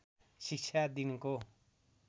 शिक्षा दिनको